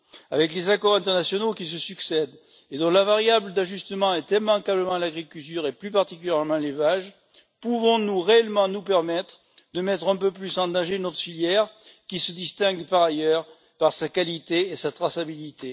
Avec les accords internationaux qui se succèdent et dont la variable d'ajustement est immanquablement l'agriculture, et plus particulièrement l'élevage, pouvons nous réellement nous permettre de mettre un peu plus en danger notre filière, qui se distingue par ailleurs par sa qualité et sa traçabilité?